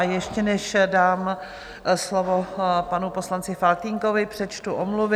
A ještě než dám slovo panu poslanci Faltýnkovi, přečtu omluvy.